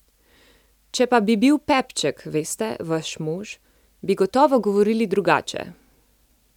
Če pa bi bil Pepček, veste, vaš mož, bi gotovo govorili drugače!